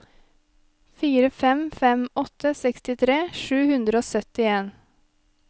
fire fem fem åtte sekstitre sju hundre og syttien